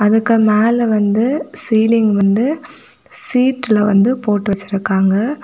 அதுக்கு மேல வந்து சீலிங் வந்து சீட்ல வந்து போட்டு வச்சிருக்காங்க.